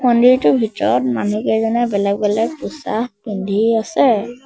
মন্দিৰটোৰ ভিতৰত মানুহকেইজনে বেলেগ বেলেগ পোছাক পিন্ধি আছে।